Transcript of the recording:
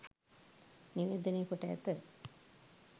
නිවේදනය කොට ඇත.